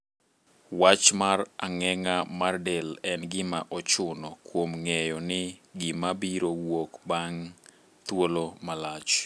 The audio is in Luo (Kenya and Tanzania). Wach mar ang'eng'a mar del en gima ochuno kuom ng'eyo ni gima biro wuok bang' thuolo malach.